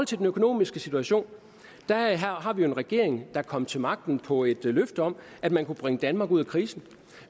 til den økonomiske situation har vi jo en regering der kom til magten på et løfte om at man kunne bringe danmark ud af krisen